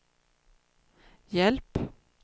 hjälp